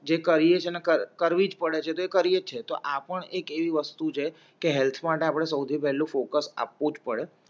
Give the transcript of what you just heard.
જે કરીએ છે ને કરવીજ પડે છે તો એ કરી એજ છે તો આપણે એક એવી વસ્તુ છે કે હેલ્થ માટે સૌથી પહેલું ફોકસ આપવુંજ પડે